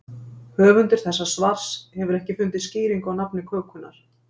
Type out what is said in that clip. Höfundur þessa svars hefur ekki fundið skýringu á nafni kökunnar.